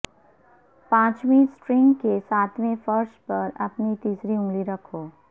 پانچویں سٹرنگ کے ساتویں فرش پر اپنی تیسری انگلی رکھو